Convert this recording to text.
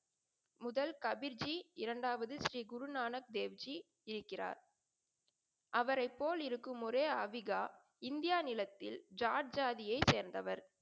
முதல் கபிர்ச்ஜி இரண்டாவது ஸ்ரீ குரு நானக் தேவ்ஜி இருக்கிறார். அவரை போல் இருக்கும் ஒரே ஆவிகா இந்தியா நிலத்தில் ஜார்ஜ் ஜாதியை சேர்ந்தவர்.